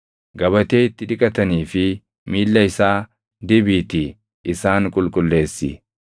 Gabatee itti dhiqatanii fi miilla isaa dibiitii isaan qulqulleessi.